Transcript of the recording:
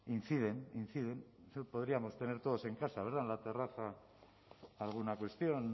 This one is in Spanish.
inciden inciden podríamos tener todos en casa verdad en la terraza alguna cuestión